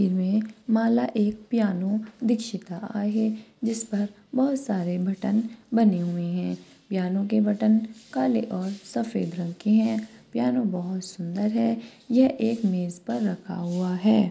मला एक पियानो दिक्षिता आहे जिसपर बहुत सारे बटन बने हुए है पियानो के बटन काले और सफेद रंग के है पियानो बहुत सुंदर है यह एक मेज पर रखा हुआ है।